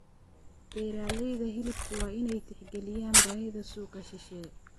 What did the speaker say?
Beeralayda hilibku waa inay tixgeliyaan baahida suuqa shisheeye.